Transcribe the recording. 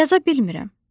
Yaza bilmirəm.